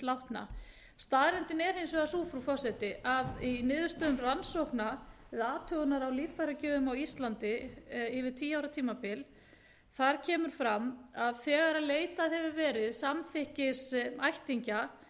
látna staðreyndin er hins vegar sú frú forseti að í niðurstöðum rannsókna athugunar á líffæragjöfum á íslandi yfir tíu ára tímabil kom fram að þegar leitað hefur verið samþykkis ættingja